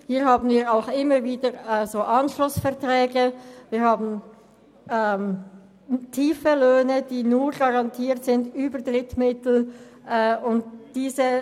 Hier haben wir auch immer wieder Anschlussverträge, und es gibt tiefe Löhne, die nur über Drittmittel garantiert sind.